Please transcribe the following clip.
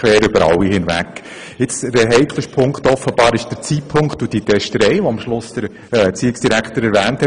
Der heikelste Teil ist offenbar der Zeitpunkt und die vom Erziehungsdirektor erwähnte Testerei.